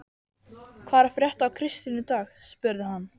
Hvað er að frétta af Kristínu í dag? spurði hann.